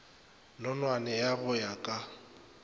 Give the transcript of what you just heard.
nonwane ya go ya ka